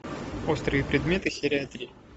острые предметы серия три